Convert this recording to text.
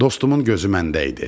Dostumun gözü məndə idi.